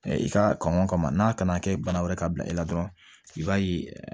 I ka kɔn ka n'a kana kɛ bana wɛrɛ ka bila i la dɔrɔn i b'a ye